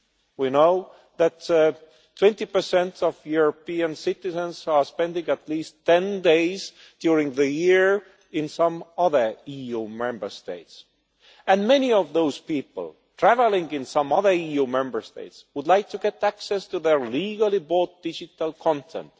We know that 20 of European citizens spend at least ten days during the year in some other EU Member State, and many of those people travelling in some other EU Member State would like to get access to their legally bought digital content